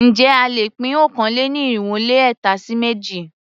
Ǹjẹ́ a lè pín okòó-lé-ní-irínwó-lé-ẹ̀ta sí méjì?